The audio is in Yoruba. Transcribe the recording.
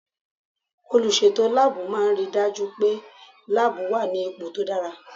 Olùsètò láàbù máà ń ri dájú pé láàbù wà ní ipò tó dára